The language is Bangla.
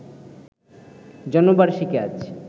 জন্মবার্ষিকী আজ